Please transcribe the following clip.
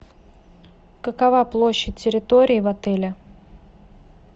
какова площадь территории в отеле